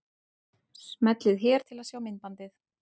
Smellið hér til að sjá myndbandið.